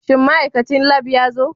Shin ma'aikacin Lab ya zo?